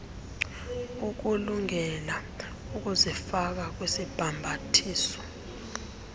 ukulungele ukuzifaka kwisibhambathiso